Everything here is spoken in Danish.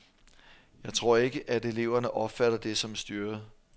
Jeg tror ikke, at eleverne opfatter det som styret.